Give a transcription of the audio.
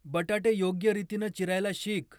बटाटे योग्य रीतीनं चिरायला शिक.